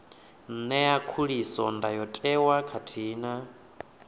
ṅea khuliso ndayotewa khathihi na